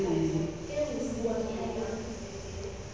o e so ka ba